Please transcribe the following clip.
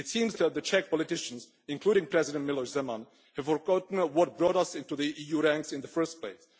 It seems that the Czech politicians, including President Miloš Zeman, have forgotten what brought us into the EU ranks in the first place.